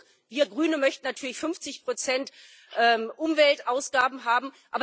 Nicht genug wir Grünen möchten natürlich 50 Prozent Umweltausgaben haben.